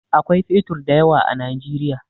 Akwai fetur da yawa a Najeriya.